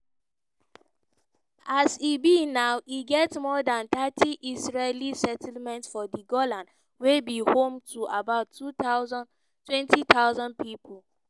as e be now e get more dan thirty israeli settlements for di golan wey be home to about 20000 pipo.